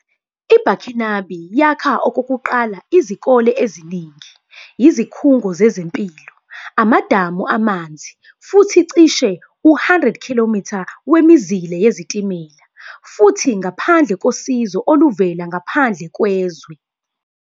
IBurkinabe yakha okokuqala izikole eziningi, izikhungo zezempilo, amadamu amanzi, futhi cishe u-100 km wemizila yezitimela, futhi ngaphandle kosizo oluvela ngaphandle kwezwe.